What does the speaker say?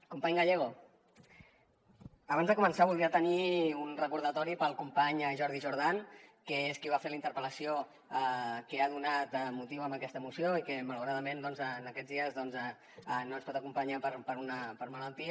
company gallego abans de començar voldria tenir un recordatori per al company jordi jordan que és qui va fer la interpel·lació que ha donat motiu a aquesta moció i que malauradament en aquests dies no ens pot acompanyar per malaltia